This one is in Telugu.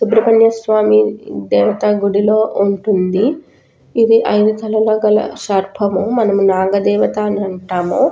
సుబ్రహ్మణ్య స్వామి దేవతా గుడిలో ఉంటుంది. ఇది ఆయన తల లోపల సర్పము. మనము నాగ దేవతా అని అంటాము.